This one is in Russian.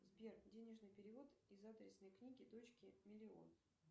сбер денежный перевод из адресной книги дочке миллион